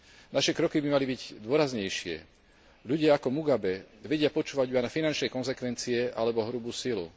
Naše kroky by mali byť dôraznejšie, ľudia ako Mugabe vedia počúvať len finančné konzekvencie alebo hrubú silu.